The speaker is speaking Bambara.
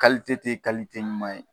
te ɲuman ye.